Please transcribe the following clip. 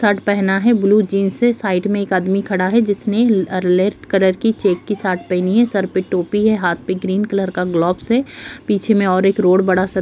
shirt पहना है blue jeans है साइड मे एक आदमी खड़ा है जिसने ले-रेड कलर की चेक की शर्ट पहनी है सर पर टोपी है हाथ पे ग्रीन कलर का ग्लव्स है पीछे मे और एक रोड बड़ा सा --